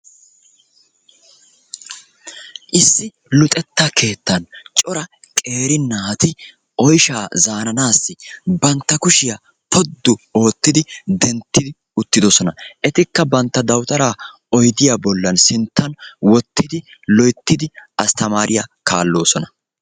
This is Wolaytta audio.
Issi luxetta keettan cora keeri naati oyshsha zaranassi bantta kushshiyaa poddu oottidi denttidi uttiddosona, ettikka bantta dawuttara oyddiyaa bolla sinttan wottidi loyttidi astamariyaa kaallosona.